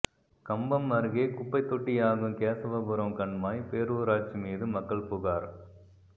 கம்பம் அருகே குப்பைத்தொட்டியாகும் கேசவபுரம் கண்மாய் பேரூராட்சி மீது மக்கள் புகார்